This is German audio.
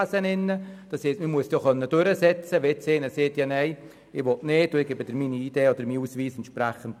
Das heisst, man müsste diese Identitätskontrolle auch durchsetzen können, wenn jemand sagt, er wolle seinen Ausweis nicht herzeigen.